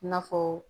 I n'a fɔ